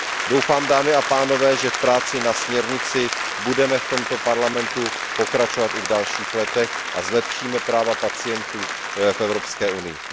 Doufám, dámy a pánové, že v práci na směrnici budeme v tomto parlamentu pokračovat i v dalších letech a zlepšíme práva pacientů v Evropské unii.